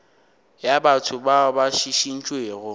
ya batho bao ba šišintšwego